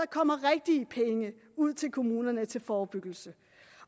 kommer rigtige penge ud til kommunerne til forebyggelse